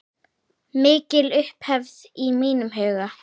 Mikil upphefð í mínum huga.